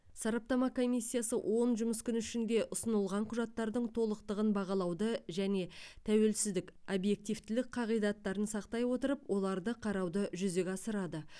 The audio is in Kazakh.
сараптама комиссиясы он жұмыс күні ішінде ұсынылған құжаттардың толықтығын бағалауды және тәуелсіздік объективтілік қағидаттарын сақтай отырып оларды қарауды жүзеге асырады